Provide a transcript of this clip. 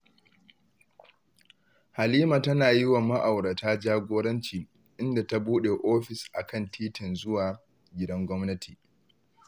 Halima tana yi wa ma'aurata jagoranci, inda ta buɗe ofis a kan titin zuwa gidan gwamnati